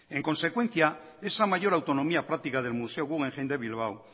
en consecuencia esa mayor autonomía práctica del museo guggenheim de bilbao